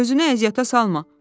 “Özünə əziyyətə salma.